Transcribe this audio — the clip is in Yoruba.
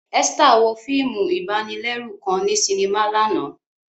Esther wo fiimu ibanilẹru kan ni sinima làná.